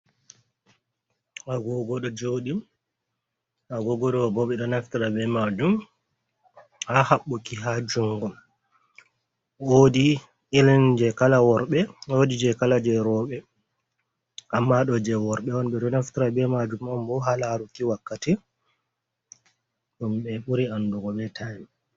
Agogo ɗo joɗi agogo ɗo bo ɓe ɗo naftara be majum ha haɓɓuki ha jungo, wodi irin je kala worɓe, wodi je kala je rooɓe, amma ɗo je worɓe on, ɓe ɗo naftira be majum on bo ha laruki wakkati ɗum ɓe ɓuri andugo be time.